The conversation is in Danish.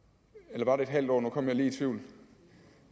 eller var det et halvt år nu kom jeg lige i tvivl